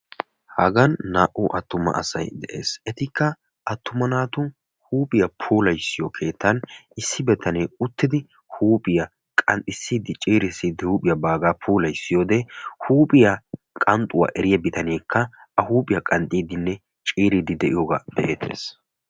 Hagan naa'u atumma asay de'ees huuphaiy qanxxiyo keettan issoy qanxxissiyooddw hankkoy qanxxees.